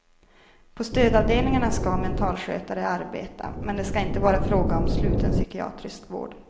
På stödavdelningarna ska mentalskötare arbeta, men det ska inte vara fråga om sluten psykiatrisk vård.